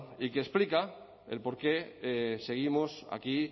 y que explica el porqué seguimos aquí